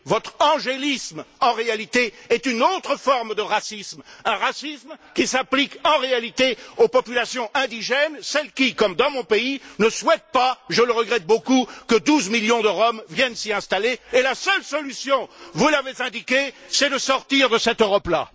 Votre angélisme en réalité est une autre forme de racisme, un racisme qui s'applique en fait aux populations indigènes, celles qui, comme dans mon pays, ne souhaitent pas, je le regrette beaucoup, que 12 millions de Roms viennent s'y installer et la seule solution, vous l'avez indiqué, c'est de sortir de cette Europe là.